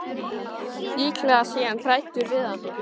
Líklega sé hann hræddur við hana.